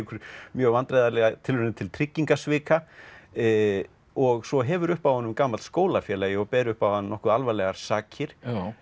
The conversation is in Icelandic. mjög vandræðalega tilraun til tryggingasvika og svo hefur upp á honum gamall skólafélagi og ber upp á hann nokkuð alvarlegar sakir